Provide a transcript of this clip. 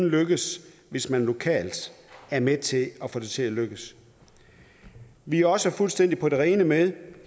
lykkes hvis man lokalt er med til at få det til at lykkes vi er også fuldstændig på det rene med